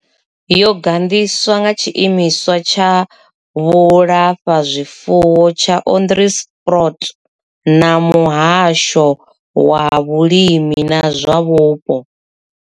Yo gandiswa nga tshiimiswa tsha vhulafhazwifuwo tsha Onderstepoort na muhasho wa vhulimi na zwa vhupo.